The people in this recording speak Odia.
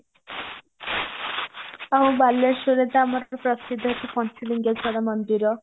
ଆଉ ବାଲେଶ୍ଵରରେ ତ ଆମର ପ୍ରସିଦ୍ଧ ଅଛି ପଞ୍ଚଲିଙ୍ଗେଶ୍ଵର ମନ୍ଦିର